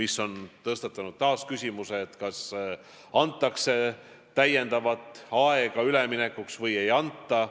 See on tõstatanud taas küsimuse, kas antakse täiendavat aega üleminekuks või ei anta.